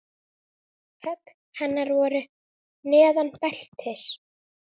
Högg hennar voru neðan beltis.